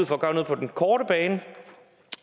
for at gøre noget på den korte bane